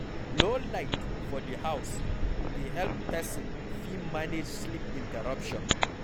Low light for di house dey help person fit manage sleep interruption